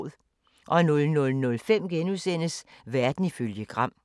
00:05: Verden ifølge Gram *